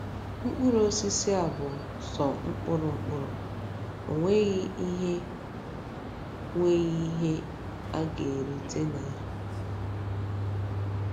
Mkpụrụ osisi a bụ sọ mkpụrụ mkpụrụ, o nweghị ihe nweghị ihe a ga - erite na ya.